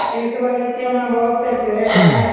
इस बगीचे में बहुत से पेड़ हैं ।